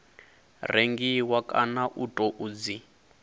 rengiwa kana u tou dzi